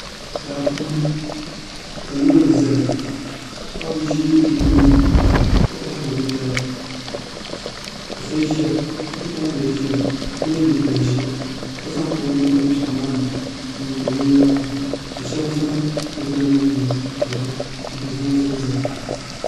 Daa puuni ka loori ʒɛya ka paɣaba ʒi o tooni ka kohari binyɛra ka bipuɣunbili ʒiya ka yɛ liiiga ʒiɛ ka zaŋ o nuu tim piɛɣu maa ni n niŋdi binyɛra maa ka shab zaŋ bi dina niŋ niŋ piɛri ni n gba zaŋ zali zali